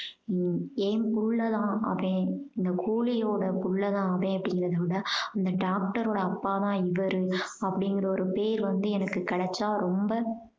உம் என் புள்ள அவன் இந்த கூலியோட புள்ள தான் அப்படீங்கறத விட அந்த doctor ஓட அப்பா தான் இவரு அப்படீங்கற ஒரு பேரு வந்து எனக்கு கிடைச்சா ரொம்ப